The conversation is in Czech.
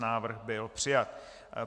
Návrh byl přijat.